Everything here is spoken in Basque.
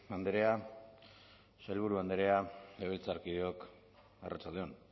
andrea sailburu andrea legebiltzarkideok arratsalde on